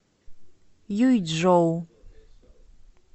юйчжоу